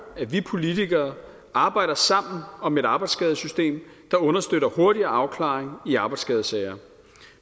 at vi politikere arbejder sammen om et arbejdsskadesystem der understøtter hurtigere afklaring i arbejdsskadesager